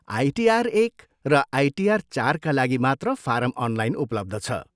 ITR एक र ITR चारका लागि मात्र फारम अनलाइन उपलब्ध छ।